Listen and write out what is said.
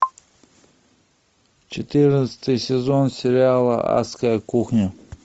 четырнадцатый сезон сериала адская кухня